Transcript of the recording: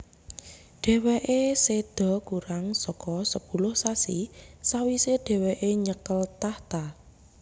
Dhèwèké séda kurang saka sepuluh sasi sawisé dhèwèké nyekel tahta